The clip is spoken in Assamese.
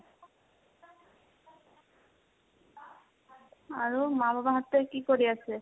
আৰু মা বাবাহতে কি কৰি আছে?